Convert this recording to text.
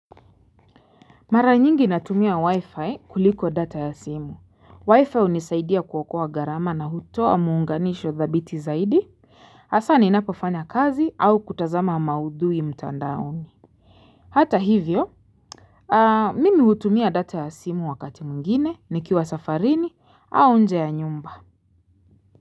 Mara nyingi natumia wi-fi kuliko data ya simu, wi-fi unisaidia kuokoa gharama na hutoa muunganisho thabiti zaidi Asa ni napofanya kazi au kutazama maudhui mtandauni Hata hivyo Mimi hutumia data ya simu wakati mwingine nikiwa safarini au nje ya nyumba.